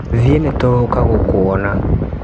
Thie nĩtũgũka gũkuona.